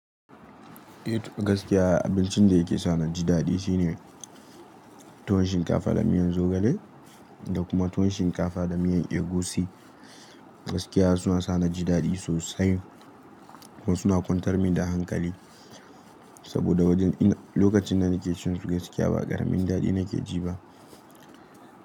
Eh to gaskiya abincin da yake sa na ji daɗi shine tuwon shinkafa da miyan zogale da kuma tuwon shinkafa da miyan egusi. Gaskiya suna sa na ji daɗi sosai kuma suna kwantar min da hankali saboda wajen ina, lokacin da nake cin su gaskiya ba ƙaramin daɗi nake ji ba.